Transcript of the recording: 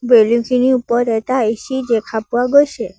Balloon খিনিৰ ওপৰত এটা এ_চি দেখা পোৱা গৈছে।